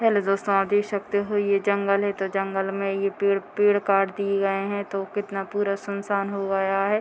Hello दोस्तों आप देख सकते हो ये जंगल है तो जंगल में ये पेड़ पेड़ काट दिए गए हैं तो कितना पूरा सुनसान हो गया है।